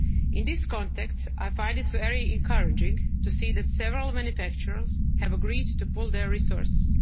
the public sector. In this context, I find it very encouraging to see that several manufacturers have agreed to